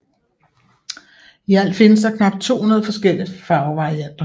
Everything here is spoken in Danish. I alt findes der knap 200 forskellige farvevarianter